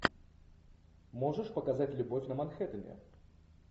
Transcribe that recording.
можешь показать любовь на манхэттене